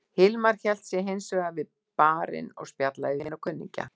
Hilmar hélt sig hins vegar við barinn og spjallaði við vini og kunningja.